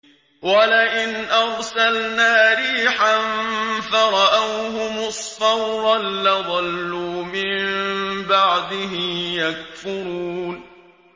وَلَئِنْ أَرْسَلْنَا رِيحًا فَرَأَوْهُ مُصْفَرًّا لَّظَلُّوا مِن بَعْدِهِ يَكْفُرُونَ